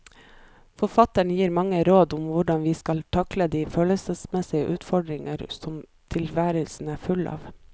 Forfatteren gir mange råd om hvordan vi skal takle de følelsesmessige utfordringer som tilværelsen er full av.